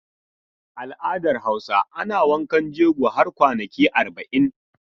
Al'adar Hausa ana wankan jego har kwanaki arba'in.